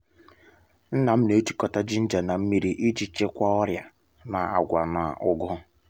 nna m na-ejikọta jinja um na nmiri iji chịkwaa um ọrịa na’agwa na um ugu